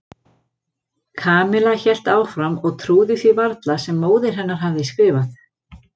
Kamilla hélt áfram og trúði því varla sem móðir hennar hafði skrifað.